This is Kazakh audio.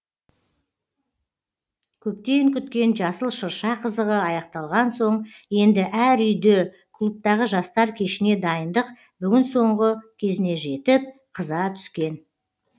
көптен күткен жасыл шырша қызығы аяқталған соң енді әр үйде клубтағы жастар кешіне дайындық бүгін соңғы кезіне жетіп қыза түскен